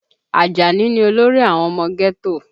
Ajani ni olórí àwọn ọmọ ghetto